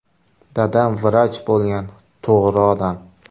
Dadam vrach bo‘lgan, to‘g‘ri odam.